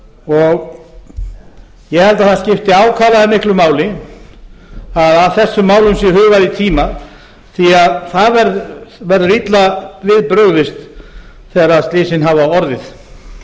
lífríkinu ég held að það skipti ákaflega miklu máli að að þessum málum sé hugað í tíma því að það verður illa við brugðist þegar slysin hafa orðið